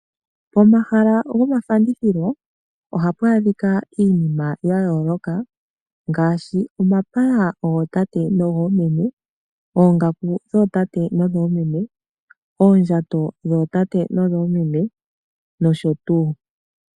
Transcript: Omahala gomafandithilo ohapu adhikwa iinima ya yoloka ngashi omapaya gotate nogo meme, ongaku dhotate nodho meme, oondjato dhotate nodhomeme noshotu.